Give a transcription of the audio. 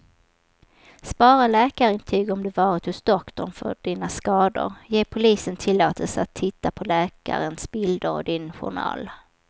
Spara läkarintyg om du varit hos doktorn för dina skador, ge polisen tillåtelse att titta på läkarens bilder och din journal.